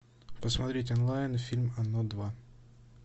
посмотреть онлайн фильм оно два